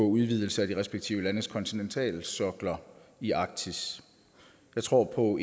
udvidelse af de respektive landes kontinentalsokler i arktis jeg tror på